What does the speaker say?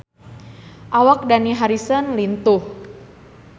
Awak Dani Harrison lintuh